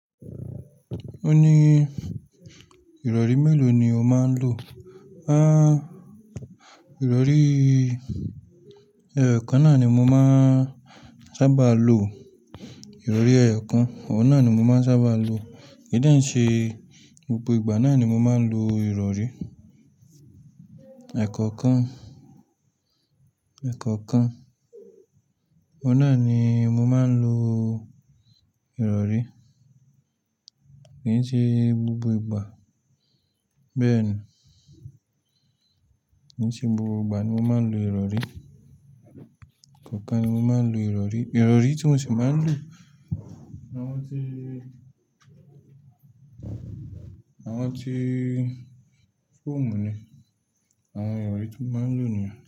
Ó ní ìrọ̀rí mélòó ni o máa ń lò? À, ìrọ̀rí ẹyọ kan náà ni mo máa ń sábà lo. Ìrọ̀rí ẹyọ kan, ọwun náà ni mo máa ń sábà lo. Kì í dánṣẹ́ gbogbo ìgbà náà ni mo máa ń lo ìrọ̀rí. Ẹ̀kọ̀kan, ẹ̀kọ̀kan. Ọwun náà ni mo máa ń lo ìrọ̀rí. Kì í ṣe gbogbo ìgbà. Bẹ́ẹ̀ ni. Kì í ṣe gbogbo ìgbà ni mo máa ń lo ìrọ̀rí. Ẹ̀kọ̀kan ni mo máa ń lo ìrọ̀rí. Ìrọ̀rí tí mo sì máa ń lò ni àwọn tí, àwọn tí fọ́ọ̀mù ni. Àwọn ìrọ̀rí tí mo máa ń lò nìyẹn.